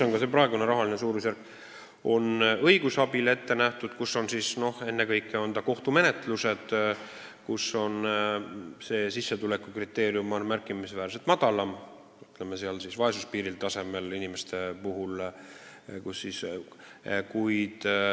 Ennekõike on see olnud mõeldud kohtumenetlusteks ja see sissetuleku määr on olnud märkimisväärselt madalam, ütleme, vaesuspiiri lähedal.